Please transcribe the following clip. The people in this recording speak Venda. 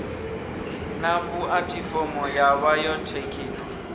na pu athifomo ya bayothekhino